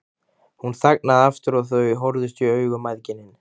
Hún þagnaði aftur og þau horfðust í augu mæðginin.